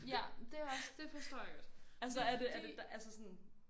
Ja det er også det forstår jeg godt det er fordi